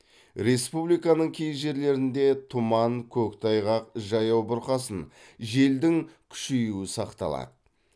республиканың кей жерлерінде тұман көктайғақ жаяу бұрқасын желдің күшейуі сақталады